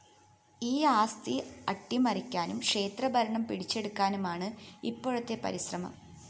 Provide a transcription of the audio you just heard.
ഈ ആസ്തി അട്ടിമറിക്കാനും ക്ഷേത്രഭരണം പിടിച്ചെടുക്കാനുമാണ് ഇപ്പോഴത്തെ പരിശ്രമം